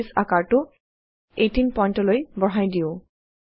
আমি বাছে আকাৰটো 18 point লৈ বঢ়াই দিও